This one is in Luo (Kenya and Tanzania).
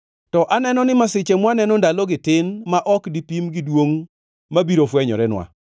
To aneno ni masiche mwaneno ndalogi tin ma ok dipim gi duongʼ mabiro fwenyorenwa.